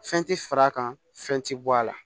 Fɛn tɛ fara a kan fɛn tɛ bɔ a la